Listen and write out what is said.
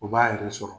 U b'a yɛrɛ sɔrɔ